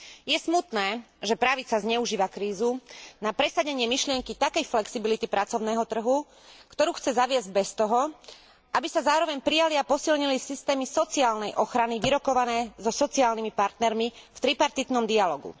Je smutné, že pravica zneužíva krízu na presadenie myšlienky takej flexibility pracovného trhu, ktorú chce zaviesť bez toho, aby sa zároveň prijali a posilnili systémy sociálnej ochrany, vyrokované so sociálnymi partnermi v tripartitnom dialógu.